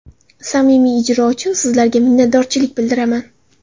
Samimiy ijro uchun sizlarga minnatdorchilik bildiraman!